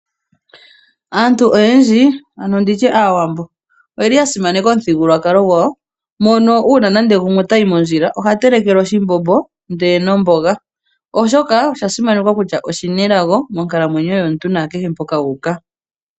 Aantu oyendji ano nditye aawambo oyeli ya simaneka omithigululwakalo gwawo. Mono uuna nande gumwe otayi mondjila oha telekelwa oshimbombo ndele nomboga. Oshoka osha simanekwa kutya oshina elago monkalamwenyo yomuntu nakehe mpoka wuuka.